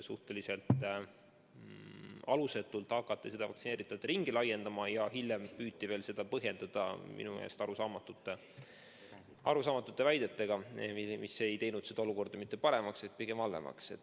Suhteliselt alusetult hakati vaktsineeritute ringi laiendama ja hiljem püüti seda põhjendada minu meelest arusaamatute väidetega, mis ei teinud olukorda mitte paremaks, vaid pigem halvemaks.